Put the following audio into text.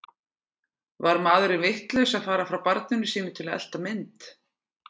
Var maðurinn vitlaus að fara frá barninu sínu til að elta mynd?